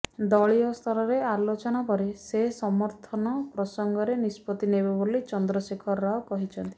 ଦଳୀୟସ୍ତରରେ ଆଲୋଚନା ପରେ ସେ ସମର୍ଥନ ପ୍ରସଙ୍ଗରେ ନିଷ୍ପତ୍ତି ନେବେ ବୋଲି ଚନ୍ଦ୍ରଶେଖର ରାଓ କହିଛନ୍ତି